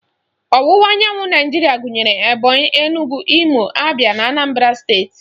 Ọwụwa anyanwụ Naijiria gụnyere Ebonyị, Enugwu, Imo, Abịa na Anambara steeti